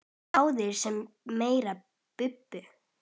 Báðir en samt meira Bubbi.